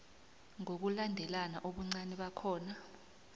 ngokulandelana ubuncani bakhona